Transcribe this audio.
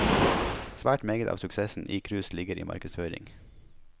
Svært meget av suksessen i cruise ligger i markedsføring.